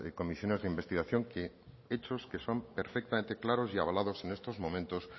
comisiones de investigación hechos que son perfectamente claros y avalados en estos momentos